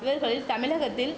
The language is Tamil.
இவர்களில் தமிழகத்தில்